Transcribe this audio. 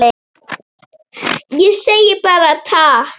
Ég segi bara takk.